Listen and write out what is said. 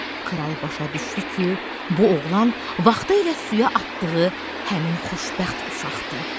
Kral başa düşdü ki, bu oğlan vaxtı ilə suya atdığı həmin xoşbəxt uşaqdır.